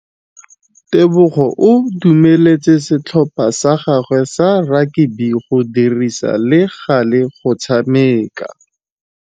Tebogô o dumeletse setlhopha sa gagwe sa rakabi go dirisa le galê go tshameka.